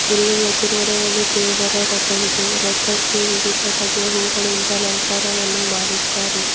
ಇಲ್ಲಿ ಎದ್ರುಗಡೆ ಒಂದು ದೇವರ ರಥವಿದೆ ರಥಕ್ಕೆ ವಿವಿಧ ಬಗೆಯ ಹೂಗಳಿಂದ ಅಲಂಕಾರವನ್ನು ಮಾಡಿದ್ದಾರೆ.